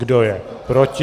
Kdo je proti?